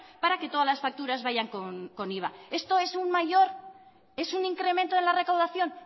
para que todas las facturas vayan con iva esto es un mayor es un incremento de la recaudación